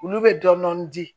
Olu bɛ dɔɔnin dɔɔnin di